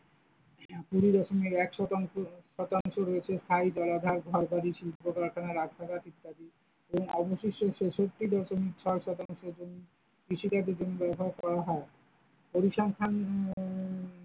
কুড়ি দশমিক এক শতাংশ শতাংশ রয়েছে স্থায়ী জলাধার, ঘরবাড়ি, শিল্পকারখানা, রাজপ্রাসাদ ইত্যাদি এবং অবশিষ্ট ছেষট্টি দশমিক ছয় শতাংশ জমি কৃষিকাজের জমি ব্যবহার করা হয়, পরিসংখ্যান উম ।